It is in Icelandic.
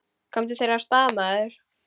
Komdu þér af stað, maður!